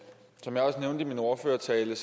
ånd i min ordførertale